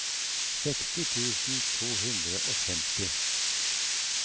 seksti tusen to hundre og femti